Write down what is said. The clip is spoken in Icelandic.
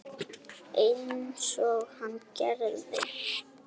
Einsog hann gerði.